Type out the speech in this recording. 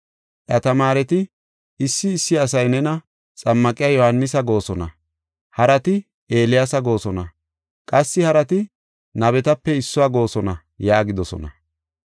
Iya tamaareti, “Issi issi asay nena, ‘Xammaqiya Yohaanisa’ goosona; harati, ‘Eeliyaasa goosona’ qassi harati, ‘Nabetape issuwa’ goosona” yaagidosona.